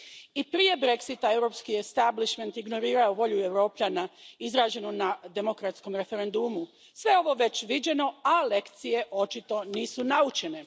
I prije Brexita, europski establishment ignorirao je volju Europljana izraženu na demokratskom referendumu. Sve ovo je već viđeno, a lekcije, očito, nisu naučene.